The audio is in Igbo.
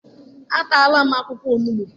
Ataala m akwụkwọ onugbu.